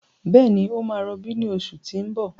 Bẹ́ẹ̀ni, ó máa rọbí ní oṣù tí ń bọ̀.